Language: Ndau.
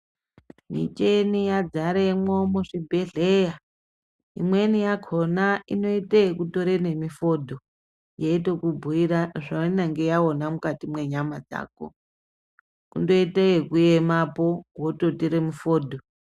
Micheni yadzaremwo muzvibhedhleya, imweni yakhona inoite ekutore nemifodho yeitokubhuira zvainenge yaona mukati mwenyama dzako. Kundoite yekuyemapo vototire mufodho.